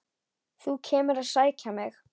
Þú kemur að sækja mig.